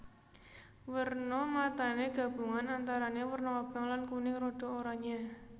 Werna matané gabungan antarané werna abang lan kuning rada oranyé